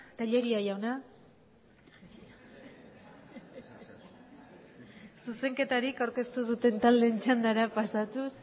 telleria jauna zuzenketarik aurkeztu ez duten taldeen txandara pasatuz